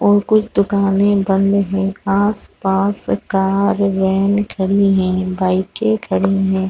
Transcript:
और कुछ दुकाने बंद है। आस-पास कार वेन खड़ी है। बाइके खड़ी है।